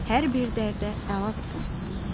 Hər bir dərdə əlacsan.